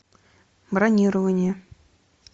бронирование